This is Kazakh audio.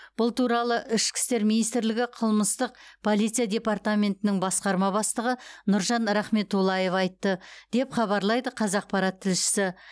бұл туралы ішкі істер министрлігі қылмыстық полиция департаментінің басқарма бастығы нұржан рахметуллаев айтты деп хабарлайды қазақпарат тілшісі